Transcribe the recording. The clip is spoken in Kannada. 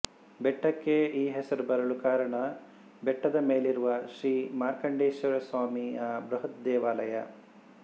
ಬೆಟ್ಟಕ್ಕೆ ಈ ಹೆಸರು ಬರಲು ಕಾರಣ ಬೆಟ್ಟದ ಮೇಲಿರುವ ಶ್ರೀ ಮಾರ್ಕಂಡೇಶ್ವರಸ್ವಾಮಿಯ ಬೃಹತ್ ದೇವಾಲಯ